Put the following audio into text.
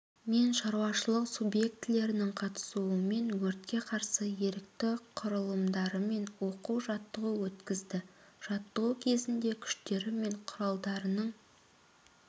мен шаруашылық субъектілерінің қатысуымен өртке қарсы ерікті құралымдарымен оқу-жаттығу өткізді жаттығу кезінде күштері мен құралдарының